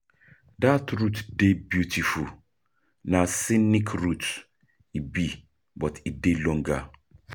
dat route dey beautiful, na scenic route e be, but e dey longer.